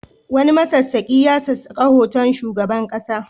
Wani masassaƙi ya sassaka hoton shugaban ƙasa.